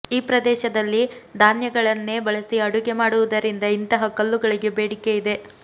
ಈ ಪ್ರದೇಶದಲ್ಲಿ ಧಾನ್ಯಗಳನ್ನೇ ಬಳಸಿ ಅಡುಗೆ ಮಾಡುವುದರಿಂದ ಇಂತಹ ಕಲ್ಲುಗಳಿಗೆ ಬೇಡಿಕೆ ಇದೆ